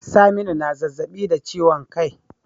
Saminu na zazzabi da ciwon kai